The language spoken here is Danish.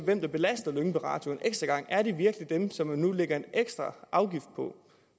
mener belaster lyngby radio en ekstra gang er det virkelig dem som man nu lægger en ekstra afgift på